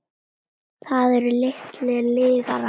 Það eru litlar lygar.